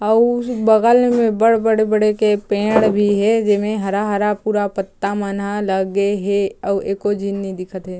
अउर बगल में बड़-बड़े-बड़े के पेड़ भी हे जेमे हरा-हरा पूरा पत्ता मन ह लगे हे अउ एको झीन नि दिखत हे।